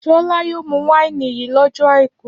Ṣọlá yóò mú wáìnì yìí lọ́jọ́ àìkú!